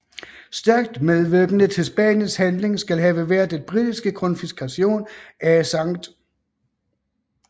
Stærkt medvirkende til Spaniens handling skal have været den britiske konfiskation af St